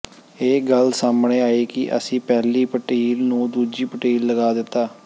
ਇਹ ਗੱਲ ਸਾਹਮਣੇ ਆਈ ਕਿ ਅਸੀਂ ਪਹਿਲੀ ਪਟੀਲ ਨੂੰ ਦੂਜੀ ਪਟੀਲ ਲਗਾ ਦਿੱਤਾ